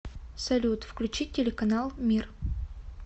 салют включить телеканал мир